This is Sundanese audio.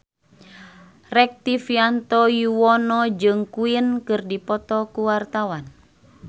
Rektivianto Yoewono jeung Queen keur dipoto ku wartawan